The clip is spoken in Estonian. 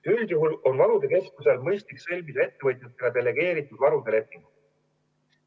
Üldjuhul on varude keskusel mõistlik sõlmida ettevõtjatega delegeeritud varude lepingud.